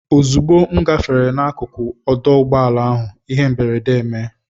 Ozugbo m gafere n'akụkụ ọdụ ụgbọala ahụ, ihe mberede emee.